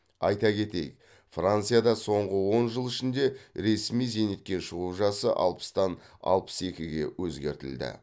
айта кетейік францияда соңғы он жыл ішінде ресми зейнетке шығу жасы алпыстан алпыс екіге өзгертілді